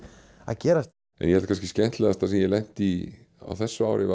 að gerast það skemmtilegasta sem ég hef lent í þessu ári